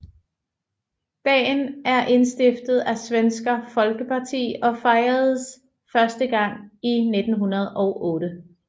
Dagen er indstiftet af Svenska Folkpartiet og fejredes første gang i 1908